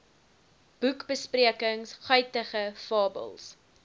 boekbesprekings guitige fabels